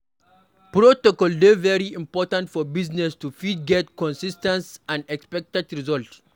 Protocol dey very important for business to fit get consis ten t and expected result